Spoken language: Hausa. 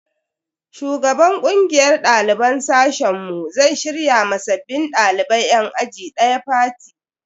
Shugaban kungiyar daliban sashen mu zai shirya ma sabbin dalibai yan aji daya fati.